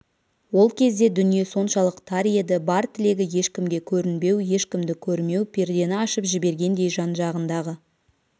ол кезде дүние соншалық тар еді бар тілегі ешкімге көрінбеу ешкімді көрмеу пердені ашып жібергендей жан-жағындағы